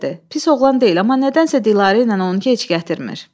Pis oğlan deyil, amma nədənsə Dilarə elə onu gec gətirmir.